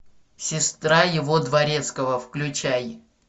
сестра его дворецкого включай